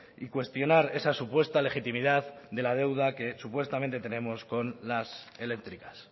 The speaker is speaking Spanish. y cuestionar esa supuesta legitimidad de la deuda que supuestamente tenemos con las eléctricas